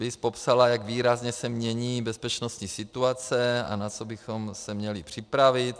BIS popsala, jak výrazně se mění bezpečnostní situace a na co bychom se měli připravit.